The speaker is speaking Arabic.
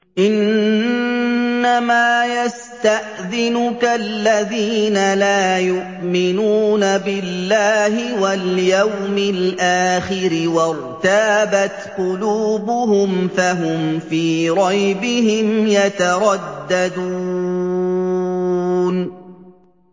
إِنَّمَا يَسْتَأْذِنُكَ الَّذِينَ لَا يُؤْمِنُونَ بِاللَّهِ وَالْيَوْمِ الْآخِرِ وَارْتَابَتْ قُلُوبُهُمْ فَهُمْ فِي رَيْبِهِمْ يَتَرَدَّدُونَ